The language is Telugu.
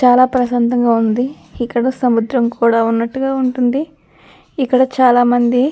చాలా ప్రశాంతంగా ఉంది ఇక్కడ సముద్రం కూడా ఉన్నట్టుగా ఉంటుంది ఇక్కడ చాలామంది.